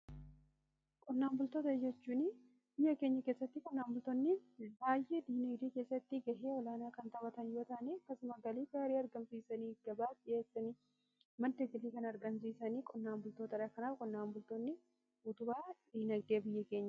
qonnaan bultoota jechuun biyya keenya keessatti qonnaan bultoonni haay'ee diinagdee keessatti gahee olaanaa kan taphatan yoo ta'anii keessuma galii gaarii argamsiisanii gabaaf dhi'eessanii madda galii kan argamsiisanii qonnaan bultoota kanaaf qonnaan bultoonni utubaa diinagdee biyya keenyati.